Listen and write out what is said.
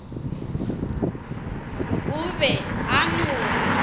o be a no re